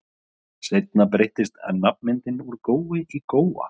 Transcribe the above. Seinna breyttist nafnmyndin úr Gói í Góa.